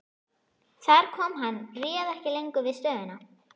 Þar kom að hann réð ekki lengur við stöðuna.